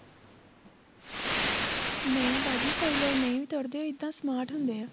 ਨਹੀਂ ਬਾਜੀ ਕੋਈ ਲੋਕ ਨਹੀਂ ਤੁਰਦੇ ਇੱਦਾਂ smart ਹੁੰਦੇ ਏ